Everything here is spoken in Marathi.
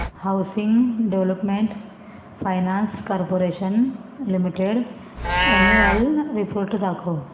housing Development Finance Corporation Limited annual report दाखव